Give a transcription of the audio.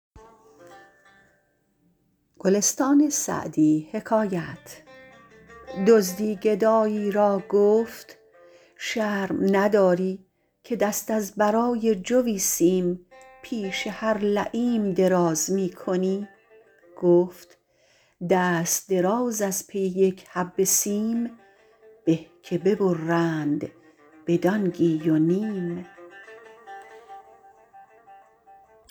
دزدی گدایی را گفت شرم نداری که دست از برای جوی سیم پیش هر لییم دراز می کنی گفت دست دراز از پی یک حبه سیم به که ببرند به دانگی و نیم